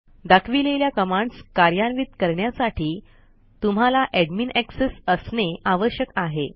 दाखविलेल्या कमांडस् कार्यान्वित करण्यासाठी तुम्हाला एडमिन एक्सेस असणे आवश्यक आहे